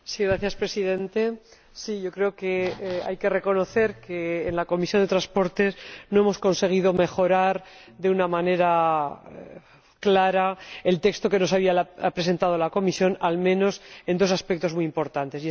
Señor Presidente, creo que hay que reconocer que en la Comisión de Transportes no hemos conseguido mejorar de una manera clara el texto que nos había presentado la Comisión, al menos en dos aspectos muy importantes.